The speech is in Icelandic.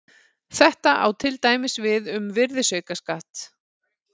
Þetta á til dæmis við um virðisaukaskatt.